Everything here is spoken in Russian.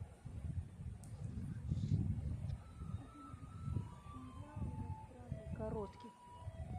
какой нибудь сериал иностранный короткий